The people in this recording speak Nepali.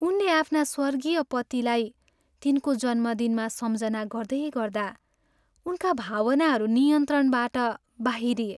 उनले आफ्ना स्वर्गीय पतिलाई तिनको जन्मदिनमा सम्झना गर्दै गर्दा उनका भावनाहरू नियन्त्रणबाट बाहिरिए।